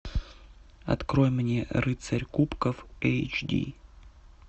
открой мне рыцарь кубков эйч ди